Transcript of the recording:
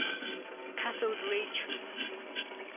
cathode ray tube